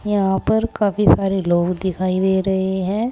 यहां पर काफी सारे लोग दिखाई दे रहे हैं।